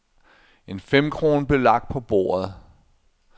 En femkrone blev lagt på bordet.